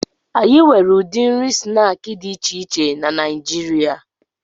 Anyị nwere ụdị nri snaakị dị iche iche na Naijiria